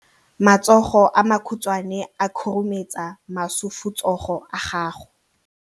Matsogo a makhutshwane a khurumetsa masufutsogo a gago.